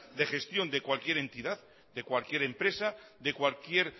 de gestión de cualquier entidad de cualquier empresa de cualquier